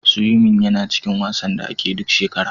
Siwimin yana cikin wasanin duniya da ake duk shekara.